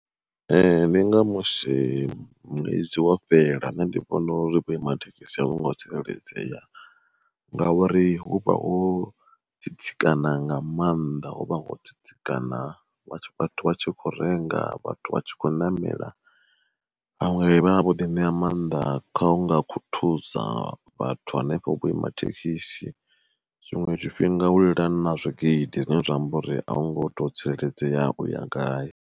Ndi nga musi ṅwedzi wo fhela nṋe ndi vhona uri vho ima thekhisi a vhungo tsireledzea, ngauri hu vha ho tsitsikana nga maanḓa hu vha ho tsitsikana vhathu vha tshi kho renga vhathu vha tshi khou ṋamela vhaṅwe vhavha vho ḓi ṋea mannḓa kha unga khuthuza vhathu hanefho vhuima thekhisi. Zwiṅwe zwifhinga hu lila na zwigidi zwine zwa amba uri a hungo to tsireledzea uya gai.